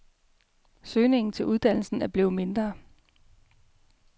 Søgningen til uddannelsen er blevet mindre.